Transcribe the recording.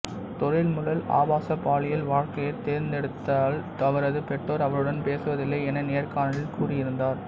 தொழில்முறை ஆபாசப்பாலியல் வாழ்க்கையைத் தேர்ந்தெடுத்ததால் அவரது பெற்றோர் அவருடன் பேசுவதில்லை என நேர்காணலில் கூறியிருந்தார்